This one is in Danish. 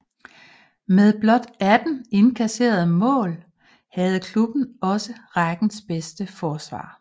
Med blot 18 indkasserede mål havde klubben også rækkens bedste forsvar